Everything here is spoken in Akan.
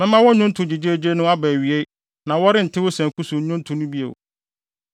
Mɛma wo nnwonto gyegyeegye no aba awiei na wɔrente wo sanku so nnwonto no bio.